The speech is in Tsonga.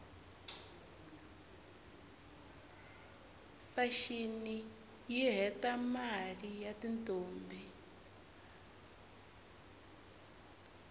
fashini yihhetamaie yatintombi